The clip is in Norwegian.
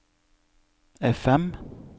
FM